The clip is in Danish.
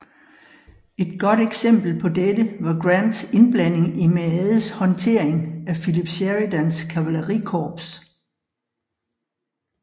Et godt eksempel på dette var Grants indblanding i Meades håndtering af Philip Sheridans kavalerikorps